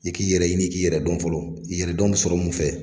I k'i yɛrɛ ɲini k'i yɛrɛ dɔn fɔlɔ, yɛrɛ dɔn be sɔrɔ mun fɛ?